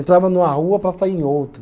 Entrava numa rua para sair em outra.